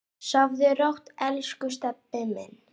Sofðu rótt, elsku Stebbi minn.